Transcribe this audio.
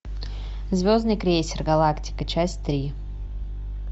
звездный крейсер галактика часть три